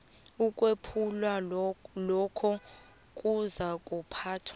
ukwephulwa lokho kuzakuphathwa